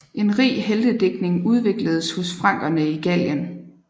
En rig heltedigtning udvikledes hos frankerne i Gallien